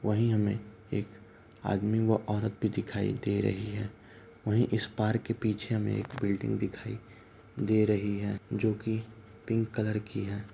वहीं हमें एक आदमी व औरत भी दिखाई दे रही है | वहीं इस पार्क के पीछे हमें एक बिल्डिंग दिखाई दे रही है | जो कि पिंक कलर की है ।